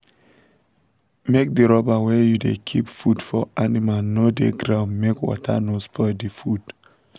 make d rubber wey u da keep food for animal no da ground make water no spoil d food